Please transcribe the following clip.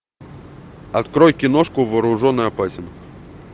открой киношку вооружен и опасен